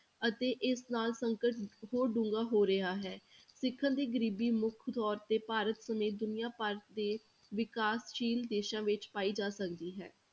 ਅਤੇ ਇਸ ਸਾਲ ਸੰਕਟ ਹੋਰ ਡੂੰਘਾ ਹੋ ਰਿਹਾ ਹੈ, ਸਿਖਰ ਦੀ ਗ਼ਰੀਬੀ ਮੁੱਖ ਤੌਰ ਤੇ ਭਾਰਤ ਸਮੇਤ ਦੁਨੀਆਂ ਭਰ ਦੇ ਵਿਕਾਸਸ਼ੀਲ ਦੇਸਾਂ ਵਿੱਚ ਪਾਈ ਜਾ ਸਕਦੀ ਹੈ।